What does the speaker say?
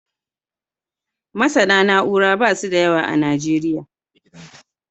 MasAna na'ura da basu da yawa a nigeria